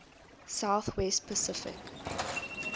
south west pacific